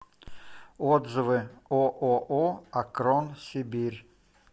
отзывы ооо акрон сибирь